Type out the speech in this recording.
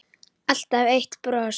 Alltaf eitt bros.